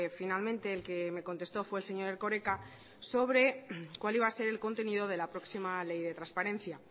finalmente el que me contestó fue el señor erkoreka sobre cuál iba a ser el contenido de la próxima ley de transparencia